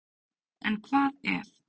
En hvað ef?